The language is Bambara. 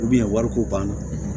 wariko banna